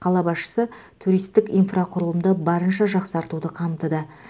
қала басшысы туристік инфрақұрылымды барынша жақсартуды қамтыды